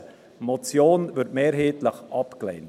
Eine Motion wird mehrheitlich abgelehnt.